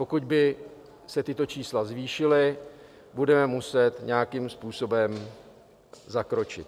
Pokud by se tato čísla zvýšila, budeme muset nějakým způsobem zakročit.